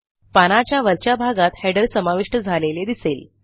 पानाच्या वरच्या भागात Headerसमाविष्ट झालेले दिसेल